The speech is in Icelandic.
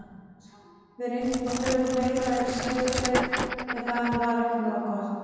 Við reyndum að hlaupa meira en í síðasta leik en það var ekki nógu gott.